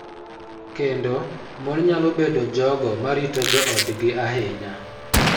Kendo mon nyalo bedo jogo ma rito joodgi ahinya.